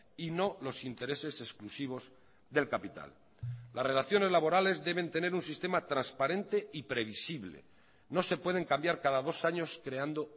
y no los intereses exclusivos del capital las relaciones laborales deben tener un sistema transparente y previsible no se pueden cambiar cada dos años creando